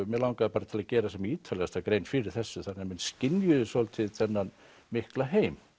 mig langaði til að gera sem ítarlegasta grein fyrir þessu þannig að menn skynjuðu svolítið þennan mikla heim